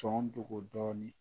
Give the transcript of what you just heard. Sɔn dogo dɔɔnin